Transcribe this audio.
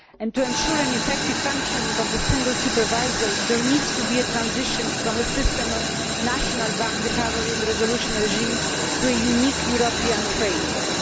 To ensure an effective functioning of the SSM, there needs to be a transition from a system of national bank recovery and resolution regimes to a single European framework.